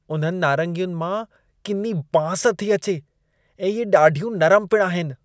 उन्हनि नारंगियुनि मां किनी बांस थी अचे ऐं इहे ॾाढियूं नरम पिण आहिनि।